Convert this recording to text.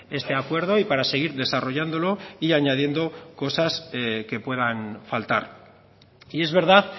este acuerdo y para seguir desarrollándolo y añadiendo cosas que puedan faltar y es verdad